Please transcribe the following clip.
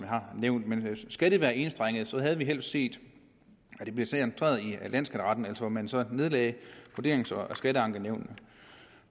har nævnt men skal det være enstrenget havde vi helst set at det blev centreret i landsskatteretten altså at man så nedlagde vurderings og skatteankenævnene